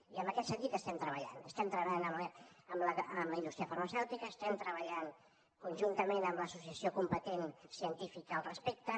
i en aquest sentit estem treballant estem treballant amb la indústria farmacèutica estem treballant conjuntament amb l’associació competent científica al respecte